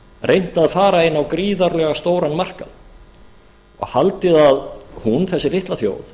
reynt að fara inn á gríðarlega stóran markað og haldið að hún þessi litla þjóð